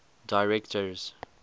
directors